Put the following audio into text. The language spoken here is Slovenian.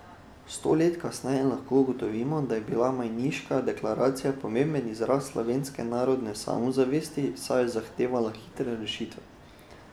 Sto let kasneje lahko ugotovimo, da je bila majniška deklaracija pomemben izraz slovenske narodne samozavesti, saj je zahtevala hitre rešitve.